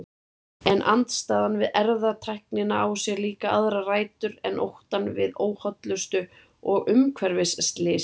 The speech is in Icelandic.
En andstaðan við erfðatæknina á sér líka aðrar rætur en óttann við óhollustu og umhverfisslys.